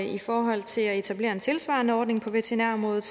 i forhold til at etablere en tilsvarende ordning på veterinærområdet